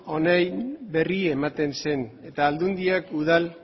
hauen berri ematen zen eta aldundiak udal